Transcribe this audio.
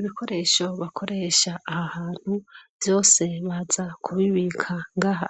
Ibikoresho bakoresha ahahantu vyose baza kubibika ngaha